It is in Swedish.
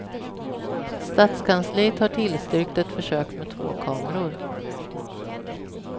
Stadskansliet har tillstyrkt ett försök med två kameror.